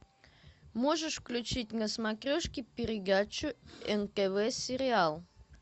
можешь включить на смотрешке передачу нтв сериал